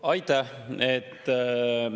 Aitäh!